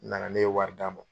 Nana ne ye wari d'a ma.